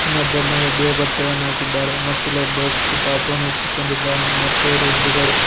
ಇನ್ನೊಬ್ಬ ಮಹಿಳೆ ಬಿಳಿ ಬಟ್ಟೆಯನ್ನು ಹಾಕಿದ್ದಾರೆ ಮತ್ತು ಇಲ್ಲೊಬ್ಬ ವ್ಯಕ್ತಿ ಪಾಪು ನೆತ್ತಿಕೊಂಡಿದ್ದಾನೆ ಮತ್ತು ಇವರ ಹಿಂದ್ಗಡೆ--